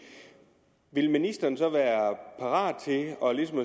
vil ministeren så være parat til at